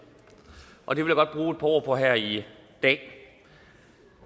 og det ord på her i dag